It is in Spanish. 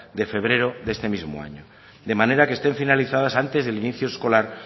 de febrero de este mismo año de manera que estén finalizadas antes del inicio escolar